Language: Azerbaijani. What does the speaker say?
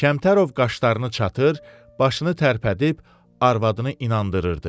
Kəmtərov qaşlarını çatır, başını tərpədib arvadını inandırırdı.